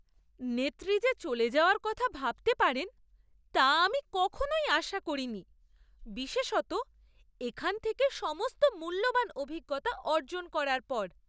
নেত্রী যে চলে যাওয়ার কথা ভাবতে পারেন তা আমি কখনোই আশা করিনি, বিশেষত এখান থেকে সমস্ত মূল্যবান অভিজ্ঞতা অর্জন করার পর।